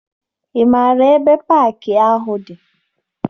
Ị maara ebe paakị ahụ dị?